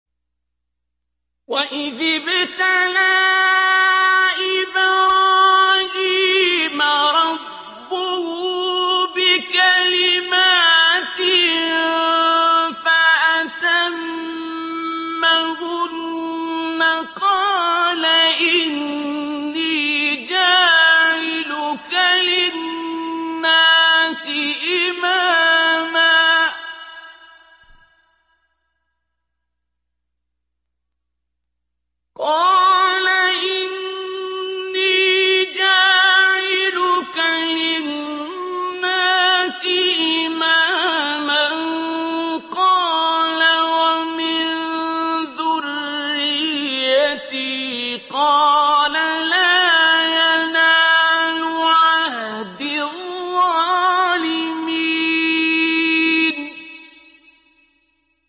۞ وَإِذِ ابْتَلَىٰ إِبْرَاهِيمَ رَبُّهُ بِكَلِمَاتٍ فَأَتَمَّهُنَّ ۖ قَالَ إِنِّي جَاعِلُكَ لِلنَّاسِ إِمَامًا ۖ قَالَ وَمِن ذُرِّيَّتِي ۖ قَالَ لَا يَنَالُ عَهْدِي الظَّالِمِينَ